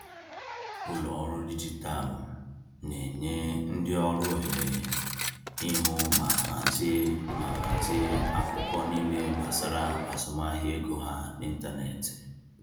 Ụlọ ọrụ dijitalụ na-enye ndị ọrụ ohere ịhụ ma hazie ma hazie akụkọ niile gbasara azụmahịa ego ha n’ịntanetị.